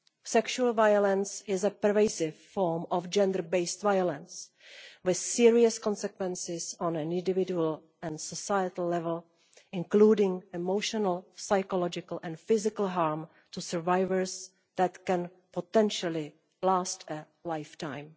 Sexual violence is a pervasive form of gender based violence with serious consequences on an individual and societal level, including emotional, psychological and physical harm to survivors that can potentially last a lifetime.